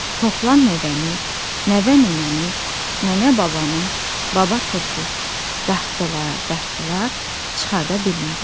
Toplan nəvəni, nəvə nənəni, nənə babanı, baba turpu dartdılar, dartdılar, çıxarda bilmədilər.